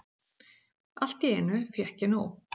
Allt í einu fékk ég nóg.